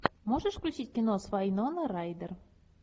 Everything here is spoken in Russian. можешь включить кино с вайнона райдер